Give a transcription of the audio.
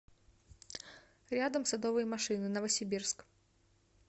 рядом садовые машины новосибирск